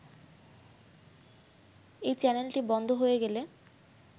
এই চ্যানেলটি বন্ধ হয়ে গেলে